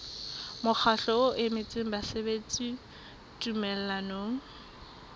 mokgatlo o emetseng basebeletsi tumellanong